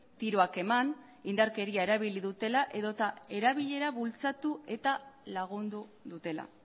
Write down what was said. tiroak eman indarkeria erabili dutela edota erabilera bultzatu eta lagundu dutela